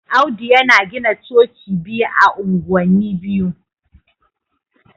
Audu yana gina Coci biyu ah anguwani biyu.